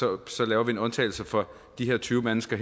nok så laver vi en undtagelse for de her tyve mennesker